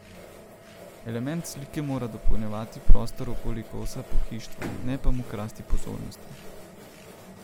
Element slike mora dopolnjevati prostor okoli kosa pohištva, ne pa mu krasti pozornosti.